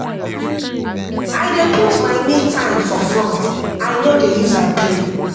I dey put my me-time for front, I no dey use am play.